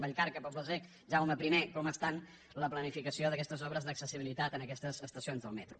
vallcarca poble sec jaume i com està la planificació d’aquestes obres d’accessibilitat en aquestes estacions del metro